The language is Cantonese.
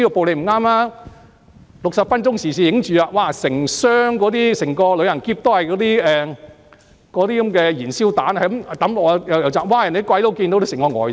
"六十分鐘時事雜誌"拍攝到整個旅行箱內都是燃燒彈，不停在投擲，外國人看到都嚇得呆了。